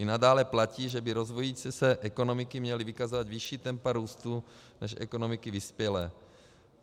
I nadále platí, že by rozvíjející se ekonomiky měly vykazovat vyšší tempa růstu než ekonomiky vyspělé.